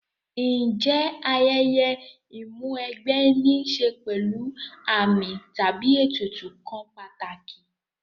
Ǹjẹ́ ayẹyẹ Ìmúw'ẹgbẹ́ ní ṣe pẹ̀lú àmì tàbí ètùtù kan pàtàkì